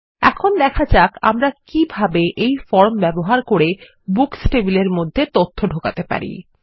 এখন দেখা যাক আমরা কিভাবে এই ফর্ম ব্যবহার করে বুকস টেবিলের মধ্যে তথ্য ঢোকাতে পারি